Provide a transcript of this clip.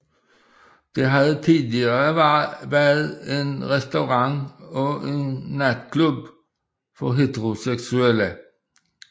Det havde tidligere været en restaurant og en natklub for heteroseksuelle